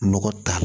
Nɔgɔ ta